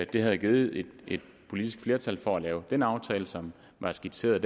det havde givet et politisk flertal for at lave den aftale som var skitseret